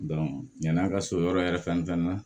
yan'a ka so yɔrɔ yɛrɛ fɛn fɛn na